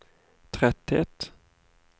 tretthet